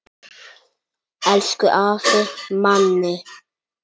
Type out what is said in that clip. Elsku afi Manni.